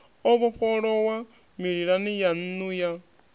o vhofholowa mililani yannu ya